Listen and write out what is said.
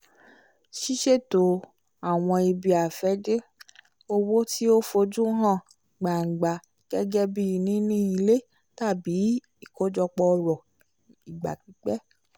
ṣiṣeto àwọn ibi-afẹde owó ti o f'ojú hàn gbángba gẹgẹbi níní ilé tàbí ikojọpọ ọrọ ìgbà-pípẹ́